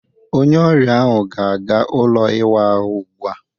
Onye ọrịa ahụ ga-aga ụlọ ịwa ahụ ugbu a.